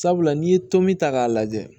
Sabula n'i ye tom ta k'a lajɛ